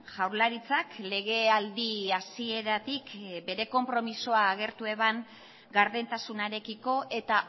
jaurlaritzak legealdi hasieratik bere konpromisoa agertu eban gardentasunarekiko eta